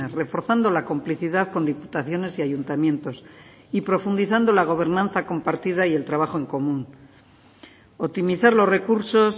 reforzando la complicidad con diputaciones y ayuntamientos y profundizando la gobernanza compartida y el trabajo en común optimizar los recursos